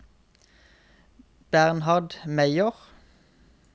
Bernhard Meyer